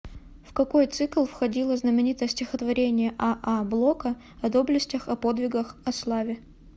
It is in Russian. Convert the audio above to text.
в какой цикл входило знаменитое стихотворение а а блока о доблестях о подвигах о славе